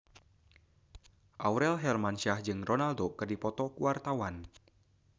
Aurel Hermansyah jeung Ronaldo keur dipoto ku wartawan